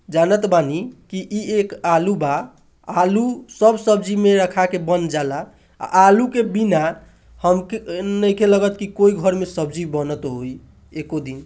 जानत बानी कि एगो आलू बा आलू सब सब्जी में रखा के बन जाला अ आलू के बिना हम के नईखे लगत कि कोई घर में सब्जी बनत होई एगो दिन--